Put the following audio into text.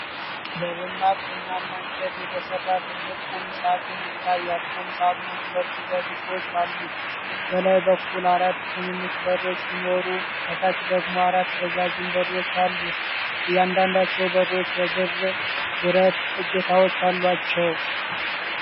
በደማቅ ቡናማ እንጨት የተሰራ ትልቅ ቁም ሳጥን ይታያል። ቁም ሳጥኑ ሁለት ረድፎች አሉት፤ በላይ በኩል አራት ትንንሽ በሮች ሲኖሩ፣ ከታች ደግሞ አራት ረዣዥም በሮች አሉት። እያንዳንዳቸው በሮች የብር ብረት እጀታዎች አሏቸው።